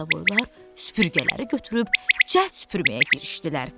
Qarabovoylar süpürgələri götürüb cəld süpürməyə girişdilər.